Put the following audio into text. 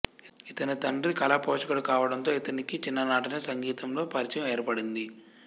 ఇతని తండ్రి కళాపోషకుడు కావడంతో ఇతనికి చిన్ననాటనే సంగీతంలో పరిచయం ఏర్పడింది